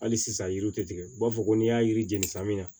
Hali sisan yiri tɛ tigɛ u b'a fɔ ko n'i y'a yiri jeni san min na